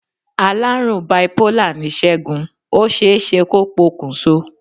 Alárùn biipólà ni Segun, ó ṣeéṣe kó po kùn so.